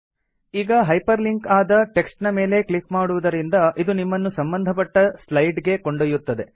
ಈಗ hyper link ಆದ text ನ ಮೇಲೆ ಕ್ಲಿಕ್ ಮಾಡುವುದರಿಂದ ಇದು ನಿಮ್ಮನ್ನು ಸಂಬಂಧಪಟ್ಟ ಸ್ಲೈಡ್ ಗೆ ಕೊಂಡೊಯ್ಯುತ್ತದೆ